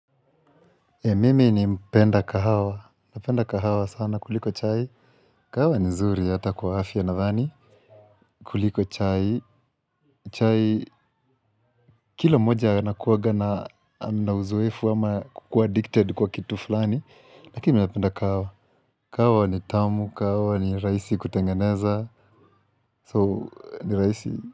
Mim ni mpenda kahawa. Napenda kahawa sana kuliko chai. Kahawa ni nzuri hata kwa afya nadhani. Kuliko chai. Chai kila mmoja anakuwaga na ana uzoefu ama kukua addicted kwa kitu fulani. Lakini mi napenda kahawa. Kahawa ni tamu. Kahawa ni raisi kutengeneza. So ni raisi.